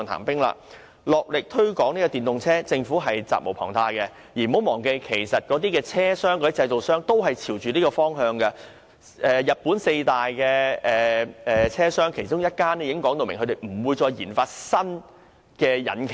大力推廣電動車，政府責無旁貸，而政府亦不要忘記，汽車製造商其實亦正朝着這方向發展，日本四大汽車製造商之一已表明不會再為私家車研發新引擎。